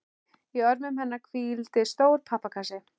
Í örmum hennar hvíldi stór pappakassi.